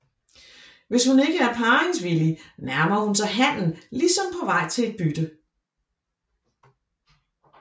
Hvis hun ikke er parringsvillig nærmer hun sig hannen ligesom på vej til et bytte